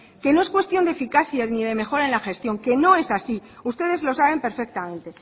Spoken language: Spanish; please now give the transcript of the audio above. que no es cuestión de eficacia ni de mejora en la gestión que no es así ustedes lo saben perfectamente